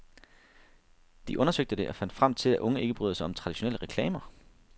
De undersøgte det og fandt frem til, at unge ikke bryder sig om traditionelle reklamer.